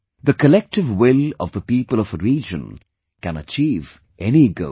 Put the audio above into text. The collective will of the people of a region can achieve any goal